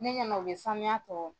Ne ɲɛna u bɛ sanuya tɔ